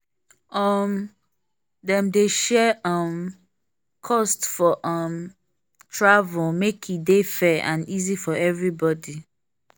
um dem dey share um cost for um travel make e dey fair and easy for everybody.